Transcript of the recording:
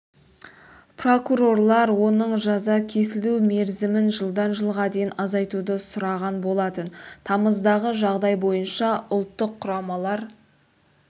прокурорлар оның жаза кесілу мерзімін жылдан жылға дейін азайтуды сұраған болатын тамыздағы жағдай бойынша ұлттық құрамалар